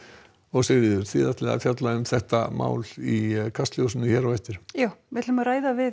Sigríður þið ætlið að fjalla um þetta mál í Kastljósi hér á eftir já við